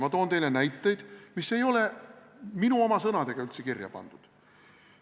Ma toon teile näiteid, mis ei ole minu oma sõnadega üldse kirja pandud.